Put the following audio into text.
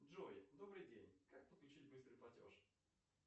джой добрый день как подключить быстрый платеж